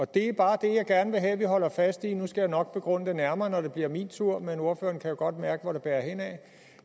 det er bare det jeg gerne vil have at vi holder fast i nu skal jeg nok begrunde det nærmere når det bliver min tur men ordføreren kan jo godt mærke hvor det bærer hen ad